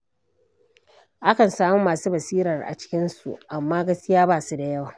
Akan samu masu basirar a cikinsu, amma gaskiya ba su da yawa